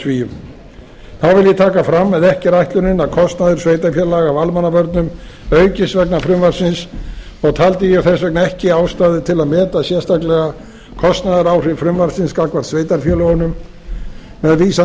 svíum þá vil ég taka fram að ekki er ætlunin að kostnaður sveitarfélaga af almannavörnum aukist vegna frumvarpsins og taldi ég þess vegna ekki ástæðu til að meta sérstaklega kostnaðaráhrif frumvarpsins gagnvart sveitarfélögunum með vísan